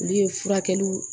Olu ye furakɛliw